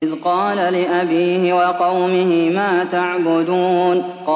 إِذْ قَالَ لِأَبِيهِ وَقَوْمِهِ مَا تَعْبُدُونَ